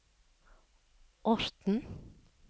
Orten